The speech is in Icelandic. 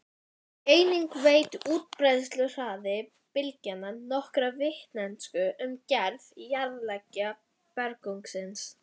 Einnig veitir útbreiðsluhraði bylgnanna nokkra vitneskju um gerð jarðlaga berggrunnsins.